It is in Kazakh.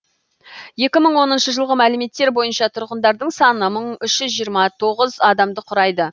екі мың оныншы жылғы мәліметтер бойынша тұрғындарының саны мың үш жүз тоғыз адамды құрайды